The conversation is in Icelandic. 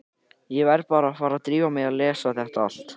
Ég verð bara að fara að drífa mig í að lesa þetta allt.